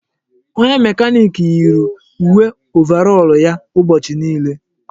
Onye mekanik yiiri uwe ovarọl ya ụbọchị niile.